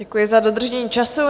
Děkuji za dodržení času.